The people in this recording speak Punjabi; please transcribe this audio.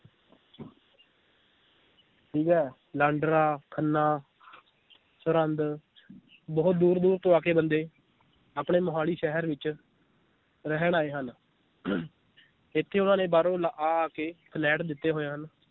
ਠੀਕ ਏ ਲਾਂਡਰਾ, ਖੰਨਾ ਸਰਹੰਦ ਬਹੁਤ ਦੂਰ ਦੂਰ ਤੋਂ ਆ ਕੇ ਬੰਦੇ ਆਪਣੇ ਮੋਹਾਲੀ ਸ਼ਹਿਰ ਵਿਚ ਰਹਿਣ ਆਏ ਹਨ ਇਥੇ ਉਹਨਾਂ ਨੇ ਬਾਹਰੋਂ ਲਾ~ ਆ ਆ ਕੇ ਫਲੈਟ ਲਿੱਤੇ ਹੋਏ ਹਨ l